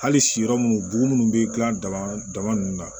Hali si yɔrɔ minnu bugun bɛ dilan dama ninnu na